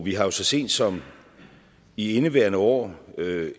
vi har jo så sent som i indeværende år